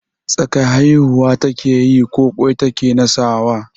Tsaka haihuwa ta keyi ko ƙwai ta ke nasawa?